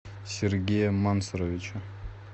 сергея мансуровича